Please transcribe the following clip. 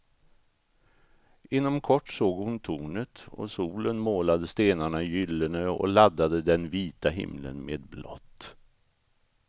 Inom kort såg hon tornet, och solen målade stenarna gyllene och laddade den vita himlen med blått.